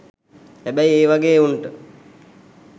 හැබැයි ඒ වගේ එවුන්ට